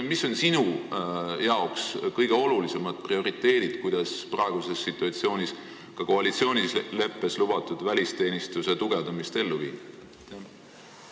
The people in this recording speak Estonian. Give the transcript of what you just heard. Mis on sinu jaoks kõige olulisemad prioriteedid, kuidas koalitsioonileppes lubatud välisteenistuse tugevdamine praeguses situatsioonis ellu viia?